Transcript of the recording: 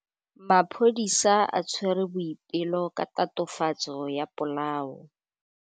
Maphodisa a tshwere Boipelo ka tatofatsô ya polaô.